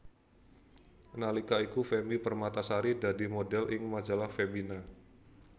Nalika iku Femmy Permatasari dadi modhél ing Majalah Femina